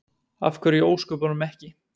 Af hverju í ósköpunum ekki?